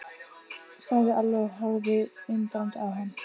sagði Alli og horfði undrandi á hann.